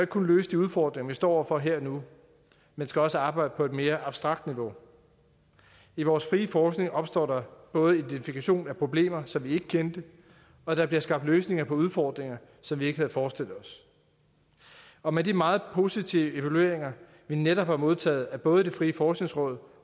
kun løse de udfordringer vi står over for her og nu men skal også arbejde på et mere abstrakt niveau i vores frie forskning opstår der både identifikation af problemer som vi ikke kendte og der bliver skabt løsninger på udfordringer som vi ikke havde forestillet os og med de meget positive evalueringer vi netop har modtaget af både det frie forskningsråd